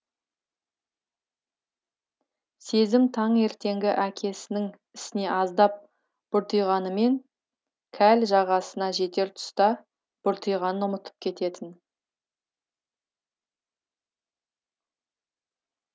сезім таңертеңгі әкесінің ісіне аздап бұртиғанымен жағасына жетер тұста бұртиғанын ұмытып кететін